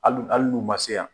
Hal hali n' u ma se yan?